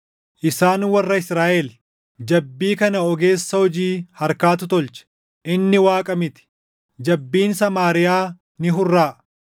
Isaan warra Israaʼel! Jabbii kana ogeessa hojii harkaatu tolche; inni Waaqa miti. Jabbiin Samaariyaa ni hurraaʼa.